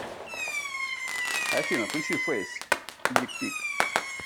афина включи фэйс дик пик